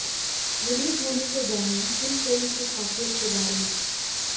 release होने से जानिए इन फिल्म की खासियत के बारे में